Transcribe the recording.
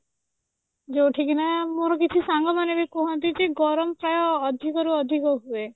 ଯୋଉଠି କି ନା ମୋର କିଛି ସାଙ୍ଗମାନେ ବି କୁହନ୍ତି ଯେ ଗରମ ପ୍ରାୟ ଅଧିକରୁ ଅଧିକ ହୁଏ